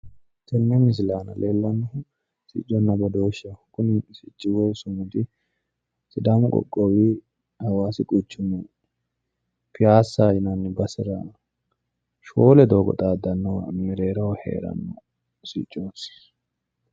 Tenne misile aana leellannohu sicconna badooshsheho. Kuni sicci woyi sumudi sidaamu qoqqowi hawaasi quchumi piyaasaho yinanni basera shoole doogo xaaddannowa mereeroho heeranno siccooti.